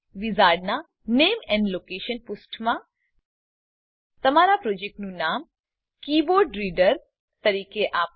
વિઝાર્ડનાં નામે and location પુષ્ઠમાં તમારા પ્રોજેક્ટનું નામ કીબોર્ડરીડર તરીકે આપો